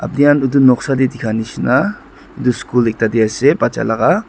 aapni khan edu noksa de dikha nishena edu school ekta de ase bacha laga.